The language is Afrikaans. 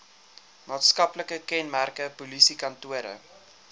maatskaplike kenmerke polisiekantore